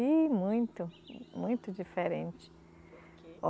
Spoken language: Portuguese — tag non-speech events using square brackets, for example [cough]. Ih, muito, muito diferente. [unintelligible]